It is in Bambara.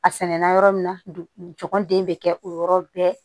A sɛnɛnna yɔrɔ min na jɔgɔn den bɛ kɛ o yɔrɔ bɛɛ